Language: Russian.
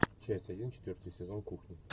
часть один четвертый сезон кухня